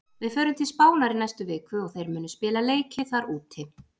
Við förum til Spánar í næstu viku og þeir munu spila leiki þar úti.